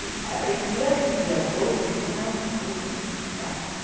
E aprender a viver a dois não é uma coisa muito fácil.